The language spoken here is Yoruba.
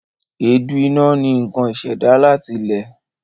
Èédú iná ni nkan asèdá láti ilẹ.